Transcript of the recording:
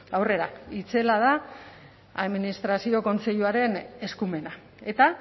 aurrera itzela da administrazio kontseiluaren eskumena eta